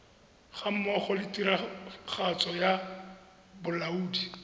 gammogo le tiragatso ya bolaodi